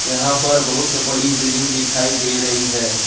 यहां पर बहुत से बड़ी बिल्डिंग दिखाई दे रही है।